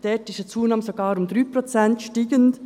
Dort ist die Zunahme sogar um 3 Prozent steigend.